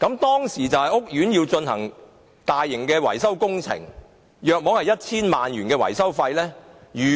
當時，屋苑要進行大型維修工程，約需 1,000 萬元的維修費用。